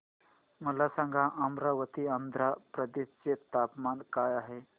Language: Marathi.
मला सांगा अमरावती आंध्र प्रदेश चे तापमान काय आहे